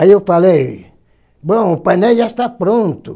Aí eu falei, bom, o painel já está pronto.